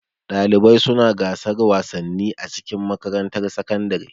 Ɗalibai suna gasan wasanni a cikin makarantar sakandare.